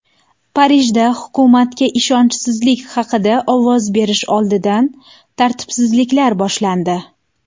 Parijda hukumatga ishonchsizlik haqida ovoz berish oldidan tartibsizliklar boshlandi.